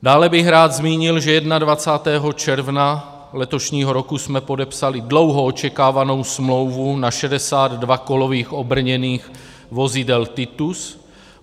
Dále bych rád zmínil, že 21. června letošního roku jsme podepsali dlouho očekávanou smlouvu na 62 kolových obrněných vozidel Titus.